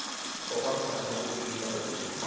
okwakhona ukubulisa okunika